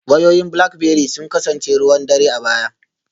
Wayoyin Blackberry sun kasance ruwan dare a baya